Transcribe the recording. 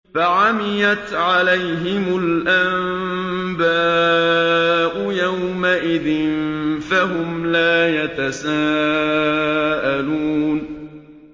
فَعَمِيَتْ عَلَيْهِمُ الْأَنبَاءُ يَوْمَئِذٍ فَهُمْ لَا يَتَسَاءَلُونَ